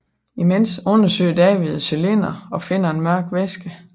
Imens undersøger David cylinderen og finder en mørk væske